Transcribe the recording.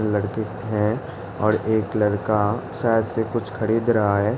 लड़के हैं और एक लड़का शायद से कुछ खरीद रहा है।